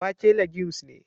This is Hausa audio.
Wake legumes ne